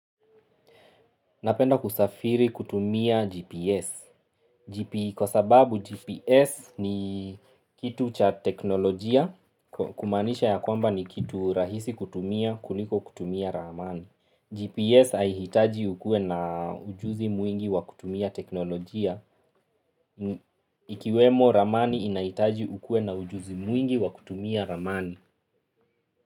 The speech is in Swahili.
Napenda kusafiri kutumia GPS. Kwa sababu GPS ni kitu cha teknolojia, kumaanisha ya kwamba ni kitu rahisi kutumia, kuliko kutumia ramani. GPS haihitaji ukuwe na ujuzi mwingi wa kutumia teknolojia. Ikiwemo ramani inahitaji ukuwe na ujuzi mwingi wa kutumia ramani.